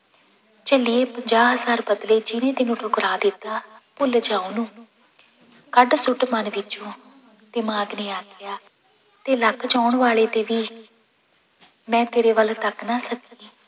ਝੱਲੀਏ ਪੰਜਾਹ ਹਜ਼ਾਰ ਬਦਲੇ ਜਿਹਨੇ ਤੈਨੂੰ ਠੁਕਰਾ ਦਿੱਤਾ, ਭੁੱਲ ਜਾ ਉਹਨੂੰ ਕੱਢ ਸੁੱਟ ਮਨ ਵਿੱਚੋਂ ਦਿਮਾਗ ਨੇ ਆਖਿਆ, ਤੇ ਲੱਖ ਚਾਹੁਣ ਵਾਲੇ ਤੇ ਵੀ ਮੈਂ ਤੇਰੇ ਵੱਲ ਤੱਕ ਨਾ ਸਕੀ।